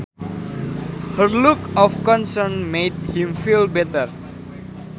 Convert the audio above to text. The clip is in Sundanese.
Her look of concern made him feel better